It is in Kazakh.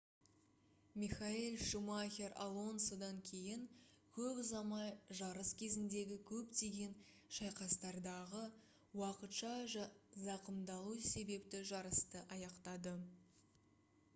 михаэль шумахер алонсодан кейін көп ұзамай жарыс кезіндегі көптеген шайқастардағы уақытша зақымдалу себепті жарысты аяқтады